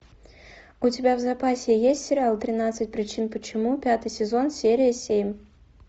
у тебя в запасе есть сериал тринадцать причин почему пятый сезон серия семь